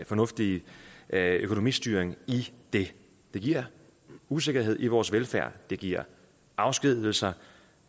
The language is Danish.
fornuftige økonomistyring i det det giver usikkerhed om vores velfærd det giver afskedigelser